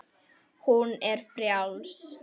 Hún er frjáls.